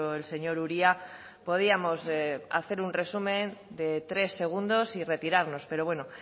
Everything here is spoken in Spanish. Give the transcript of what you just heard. el señor uria podíamos hacer un resumen de tres segundos y retirarnos pero bueno